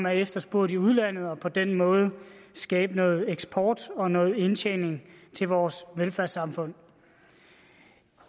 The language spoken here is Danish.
er efterspurgt i udlandet og på den måde skabe noget eksport og noget indtjening til vores velfærdssamfund